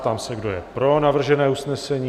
Prám se, kdo je pro navržené usnesení?